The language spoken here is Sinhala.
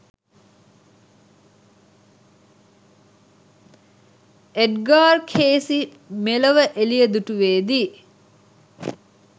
එඞ්ගාර් කේසි මෙලොව එළිය දුටුවේදී